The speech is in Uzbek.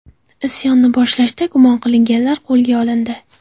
Isyonni boshlashda gumon qilinganlar qo‘lga olindi.